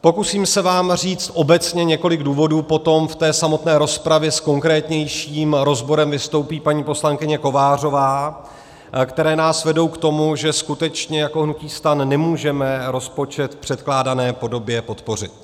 Pokusím se vám říct obecně několik důvodů - potom v té samotné rozpravě s konkrétnějším rozborem vystoupí paní poslankyně Kovářová - které nás vedou k tomu, že skutečně jako hnutí STAN nemůžeme rozpočet v předkládané podobě podpořit.